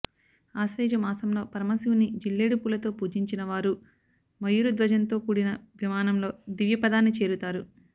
ఆశ్వయుజమాసంలో పరమశివుని జిల్లేడుపూలతో పూజించినవారు మయూర ధ్వజంతో కూడిన విమానంలో దివ్యపదాన్ని చేరుతారు